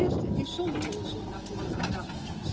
Het eerste is zonder onderzoek naar voren gebracht.